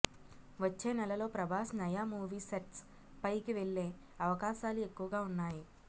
వచ్చే నెలలో ప్రభాస్ నయా మూవీ సెట్స్ పైకి వెళ్లే అవకాశాలు ఎక్కువగా ఉన్నాయి